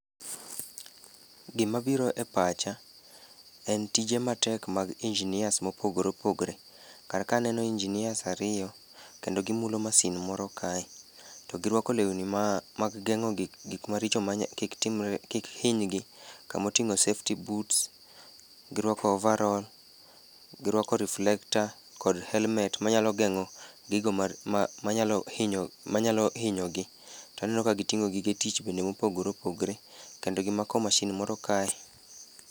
Gimabiro e pacha en tije matek mag engineers mopogore opogore. Kar ka aneno engineers ariyo kendo gimulo masin moro kae, to girwako lewni mag geng'o gik maricho kik hinygi, kama oting'o safety boots, girwako overroll, girwako reflector kod helmet manyalo geng'o gigo manyalo hinyogi. To aneno ka giting'o gige tich bende mopogore opogore kendo gimako mashin moro kae.